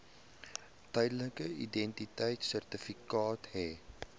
tydelike identiteitsertifikaat hê